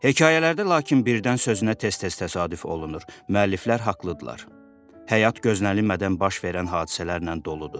Hekayələrdə lakin birdən sözünə tez-tez təsadüf olunur, müəlliflər haqlıdırlar, həyat gözlənilmədən baş verən hadisələrlə doludur.